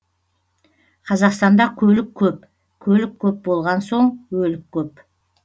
қазақстанда көлік көп көлік көп болған соң өлік көп